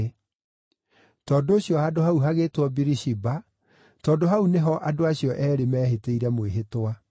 Tondũ ũcio handũ hau hagĩĩtwo Birishiba tondũ hau nĩ ho andũ acio eerĩ mehĩtĩire mwĩhĩtwa.